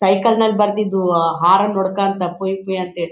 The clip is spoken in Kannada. ಸೈಕನಾ ಲ್ ಬರ್ತಿದ್ವು ಆಹ್ಹ್ ಹಾರ್ನ್ ಹೊಡ್ಕೊಂಡ್ತಾ ಪುಯಿ ಪುಯಿ ಅಂತ ಹೇಳಿ--